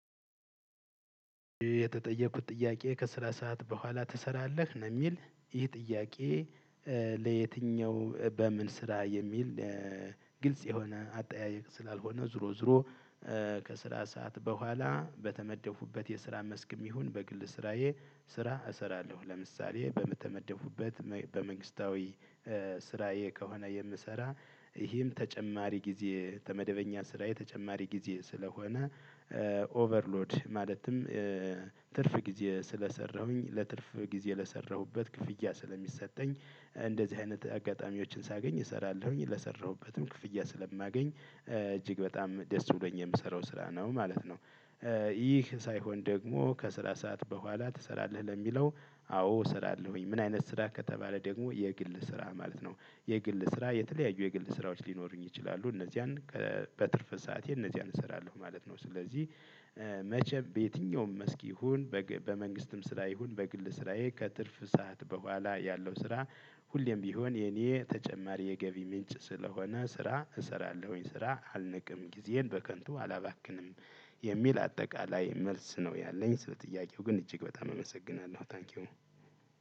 የተጠየኩት ጥያቄ ከስራ ሰዓት በኋላ ትሰራለህ ነው የሚል ይህ ጥያቄ? ለየትኛው በምን ስራ የሚል ግልጽ የሆነ አጠያየቅ ስላልሆነ ዝሮ ዝሮ። ከስራ ሰዓት በኋላ በተመደኩበት የስራ መስክም ይሁን በግል ስራዬ። ስራ እሰራለሁ ለምሳሌ በተመደኩበት በመንግስታዊ ስራዬ ከሆነ የምሰራ። ይህም ተጨማሪ ጊዜ ተመደበኛ ስራዬ ተጨማሪ ጊዜ ስለሆነ። ኦቨርሎድ ማለትም ትርፍ ጊዜ ስለሰራሁኝ ለትርፍ ጊዜ ለሰራሁበት ክፍያ ስለሚሰጠኝ እንደዚህ አይነት አጋጣሚዎችን ሳገኝ እሰራለሁኝ ለሰራሁበትም ክፍያ ስለማገኝ እጅግ በጣም ደስ ብሎኝ የምሰራው ስራ ነው ማለት ነው። ይህ ሳይሆን ደግሞ ከስራ ሰዓት በኋላ ትሰራለህ ለሚለው? አዎ እሰራለሁኝ ምን አይነት ስራ ከተባለ ደግሞ የግል ስራ ማለት ነው። የግል ስራ የተለያዩ የግል ስራዎች ሊኖሩኝ ይችላሉ እነዚያን በትርፍ ሰዓቴ እነዚያን እሰራለሁ ማለት ነው። ስለዚህ መቼም በየትኛውም መስክ ይሁን በመንግስትም ስራ ይሁን በግል ስራዬ ከትርፍ ሰዓት በኋላ ያለው ስራ። ሁሌም ቢሆን የኔ ተጨማሪ የገቢ ምንጭ ስለሆነ ስራ እሰራለሁኝ ስራ አልንቅም ጊዜን በከንቱ አላባክንም። የሚል አጠቃላይ መልስ ነው ያለኝ ስለ ጥያቄው ግን እጅግ በጣም እመሰግናለሁ ታንኪው።